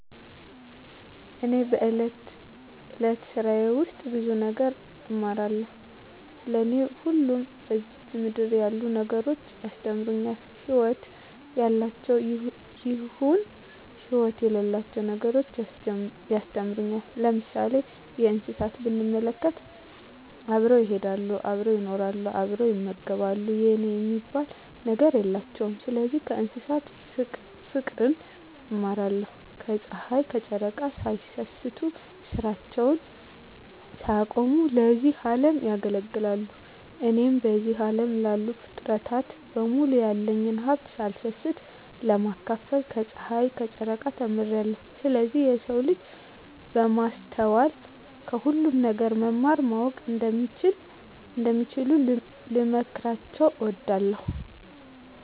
እኔ በእለት እለት ስራየ ውስጥ ብዙ ነገር እማራለሁ። ለኔ ሁሉም በዝች ምድር ያሉ ነገሮች ያስተምሩኛል ህይወት ያላቸውም ይሁን ህይወት የሌላቸው ነገሮች ያስተምሩኛል። ለምሳሌ እንስሳትን ብንመለከት አብረው ይሄዳሉ አብረው ይኖራሉ አብረው ይመገባሉ የኔ የሚባል ነገር የላቸውም ስለዚህ ከእንስሳት ፉቅርን እማራለሁ። ከጽሀይ ከጨረቃ ሳይሰስቱ ስራቸውን ሳያቆሙ ለዚህ አለም ያገለግላሉ። እኔም በዚህ አለም ላሉ ፉጥረታት በሙሉ ያለኝን ሀብት ሳልሰስት ለማካፈል ከጸሀይና ከጨረቃ ተምሬአለሁ። ስለዚህ የሰው ልጅ በማስተዋል ከሁሉም ነገር መማር ማወቅ እንደሚችሉ ልመክራቸው እወዳለሁ።